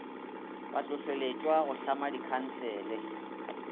ba hlohleletšwa go tlhama dikhansele